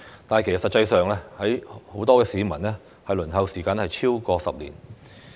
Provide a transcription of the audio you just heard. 但是，實際上，很多市民的輪候時間是超過10年。